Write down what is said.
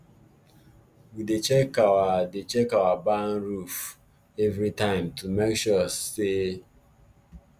we dey check our dey check our barn roof every time to make sure sa